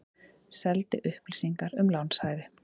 Seldi upplýsingar um lánshæfi